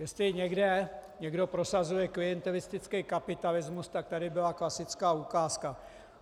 Jestli někde někdo prosazuje klientelistický kapitalismus, tak tady byla klasická ukázka.